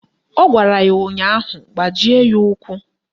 Ọ gwara ya ụnyaahụ " Gbajie ya ụkwụ"!